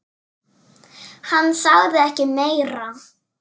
Hann sagði ekki meira.